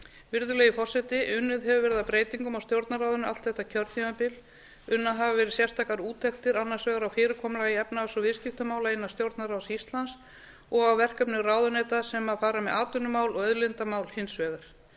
virðulegi forseti unnið hefur verið að breytingum á stjórnarráðinu allt þetta kjörtímabil unnar hafa verið sérstakar úttektir annars vegar á fyrirkomulagi efnahags og viðskiptamála innan stjórnarráðs íslands og að verkefnum ráðuneyta sem fara með atvinnumál og auðlindamál hins vegar